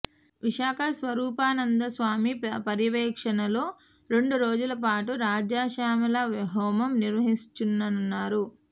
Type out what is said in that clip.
విశాఖ స్వరూపానంద స్వామి పర్యవేక్షణలో రెండు రోజుల పాటు రాజశ్యామల హోమం నిర్వహించనున్నారు